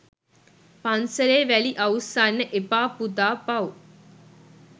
” පන්සලේ වැලි අවුස්සන්න එපා පුතා පව්”.